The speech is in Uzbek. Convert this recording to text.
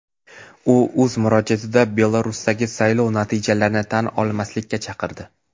U o‘z murojaatida Belarusdagi saylov natijalarini tan olmaslikka chaqirdi.